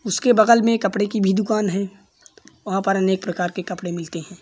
उसके बगल मे कपड़े की भी दुकान है। वहाँ पर अनेक प्रकार के कपड़े मिलते हैं।